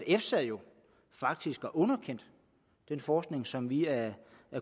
efsa jo faktisk har underkendt den forskning som vi er